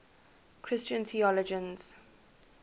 christian theologians